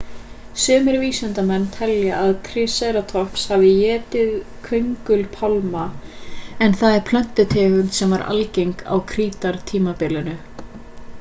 sumir vísindamenn telja að triceratops hafi étið köngulpálma en það er plöntutegund sem var algeng á krítartímabilinu